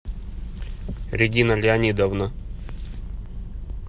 регина леонидовна